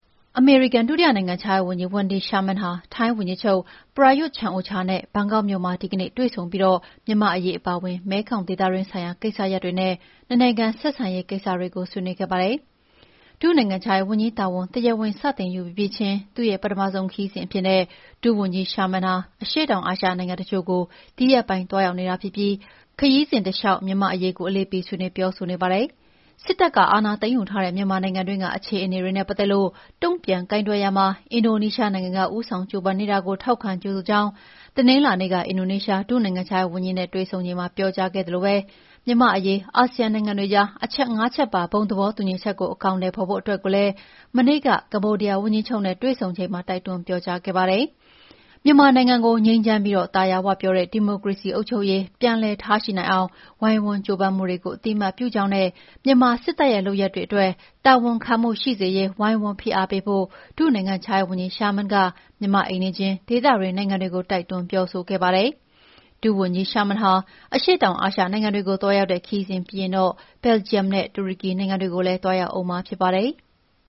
အမေရိကန်ဒုတိယနိုင်ငံခြားရေးဝန်ကြီး Wendy Sherman ဟာ ထိုင်းဝန်ကြီးချုပ် Prayuth Chan-ocha နဲ့ ဒီကနေ့ ဘန်ကောက်မြို့တော်မှာ တွေ့ဆုံပြီး မြန်မာ့အရေး အပါအဝင် မဲခေါင် ဒေသတွင်းဆိုင်ရာ ကိစ္စရပ်တွေနဲ့ နှစ်နိုင်ငံ ဆက်ဆံရေးဆိုင်ရာ ကိစ္စရပ်တွေကို ဆွေးနွေးခဲ့ကြပါတယ်။ ဒု နိုင်ငံခြားရေးဝန်ကြီးတာဝန် တရားဝင် စတင်ယူပြီးပြီးချင်း သူ့ရဲ့ ပထမဆုံးခရီးစဉ်အဖြစ် ဒုဝန်ကြီး Sherman အရှေ့တောင်အာရှနိုင်ငံ တချို့ကို ဒီရက်ပိုင်း သွားရောက်နေတာ ဖြစ်ပြီး ခရီးစဉ်တလျှောက် မြန်မာ့အရေးကို အလေးပေး ဆွေးနွေးပြောဆိုနေတာပါ။ စစ်တပ်က အာဏာသိမ်းယူထားတဲ့ မြန်မာနိုင်ငံတွင်းက အခြေအနေတွေနဲ့ ပတ်သက်လို့ တုံ့ပြန်ကိုင်တွယ်ရာမှာ အင်ဒိုနီးရှားနိုင်ငံက ဦးဆောင် ကြိုးပမ်းနေတာကို ထောက်ခံ ကြိုဆိုကြောင်း တနင်္လာနေ့က အင်ဒိုနီးရှား ဒုနိုင်ငံခြားရေးဝန်ကြီးနဲ့ တွေ့ဆုံချိန်မှာ ပြောကြားခဲ့သလို မြန်မာ့အရေး အာဆီယံနိုင်ငံတွေကြား အချက် ၅ ချက်ပါ သဘောတူညီချက်ကို အကောင်အထည် ဖော်ဖို့အတွက်ကိုလည်း မနေ့က ကမ္ဘောဒီးယားဝန်ကြီးချုပ်နဲ့ တွေ့ဆုံစဉ်မှာ တိုက်တွန်းပြောကြားခဲ့ပါတယ်။ မြန်မာနိုင်ငံကို ငြိမ်းချမ်းပြီး သာယာဝပြောတဲ့ ဒီမိုကရေစီ အုပ်ချုပ်ရေး ပြန်လည်ထားရှိနိုင်အောင် ဝိုင်းဝန်းကြိုးပမ်းမှုတွေကို အသိအမှတ်ပြုကြောင်းနဲ့ မြန်မာစစ်တပ်ရဲ့ လုပ်ရပ်တွေအတွက် တာဝန်ခံမှု ရှိစေရေး ဝိုင်းဝန်းဖိအားပေးဖို့ ဒုနိုင်ငံခြားရေးဝန်ကြီး Sherman က မြန်မာ့အိမ်နီးချင်း ဒေသတွင်း နိုင်ငံတွေကို တိုက်တွန်းပြောဆိုခဲ့ပါတယ်။ ဒုဝန်ကြီး Wendy Sherman အရှေ့တောင်အာရှနိုင်ငံတွေကို သွားရောက်တဲ့ ခရီးစဉ်ပြီးရင်တော့ ဘယ်လ်ဂျီယံနဲ့ တူရကီနိုင်ငံတွေကိုလည်း သွားရောက်ဦးမှာဖြစ်ပါတယ်။